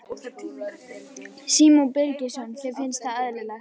Símon Birgisson: Þér finnst það eðlilegt?